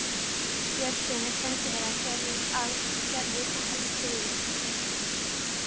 Björnssyni sendiherra: Gerður er alveg friðlaus að komast út.